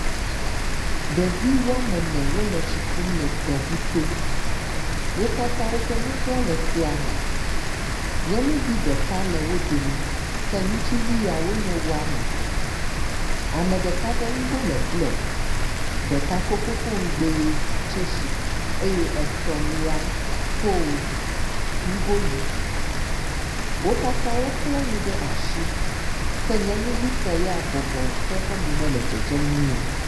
Ɖevi wɔme ene wo le tsi kum lɖ tɔŋu to. Wo katã woƒe nugoa le tɔa me. Nyɔnuvi ɖeka le wo domi ke ŋutsuvi ya wo nye wɔme etɔ̃. Ame ɖeka ƒe nugo le blɔ, ɖeka ko fofoŋugbɛ tsesi eye etɔ̃lia ko nugo ʋi. Wo katã wokle nu ɖe asi ke nyɔnuvitɔ ya bɔbɔ ke eƒe mom le dedzem nyuie o.